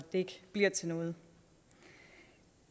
det ikke bliver til noget